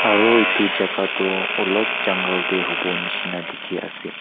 aro etu jaka tu ulop jungle tey hobo neshna dekhe ase.